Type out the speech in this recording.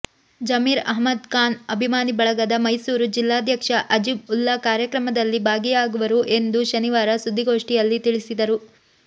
ಜಮೀರ್ ಅಹ್ಮದ್ ಖಾನ್ ಅಭಿಮಾನಿ ಬಳಗದ ಮೈಸೂರು ಜಿಲ್ಲಾಧ್ಯಕ್ಷ ಅಜೀಜ್ ಉಲ್ಲಾ ಕಾರ್ಯಕ್ರಮದಲ್ಲಿ ಭಾಗಿಯಾಗುವರು ಎಂದು ಶನಿವಾರ ಸುದ್ದಿಗೋಷ್ಠಿಯಲ್ಲಿ ತಿಳಿಸಿದರು